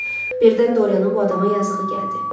Birdən Doriyenin bu adama yazığı gəldi.